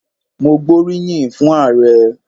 Mo gbóríyìn fún Ààrẹ.